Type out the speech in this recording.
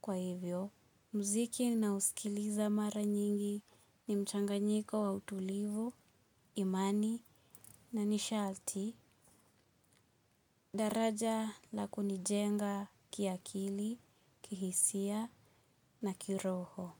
Kwa hivyo, mziki na husikiliza mara nyingi ni mchanga nyiko wa utulivu, imani na nishati, daraja la kunijenga kiakili, kihisia na kiroho.